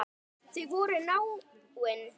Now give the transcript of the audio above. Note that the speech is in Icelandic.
Þau voru náin.